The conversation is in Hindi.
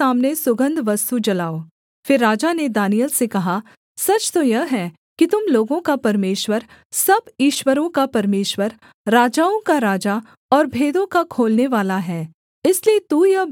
फिर राजा ने दानिय्येल से कहा सच तो यह है कि तुम लोगों का परमेश्वर सब ईश्वरों का परमेश्वर राजाओं का राजा और भेदों का खोलनेवाला है इसलिए तू यह भेद प्रगट कर पाया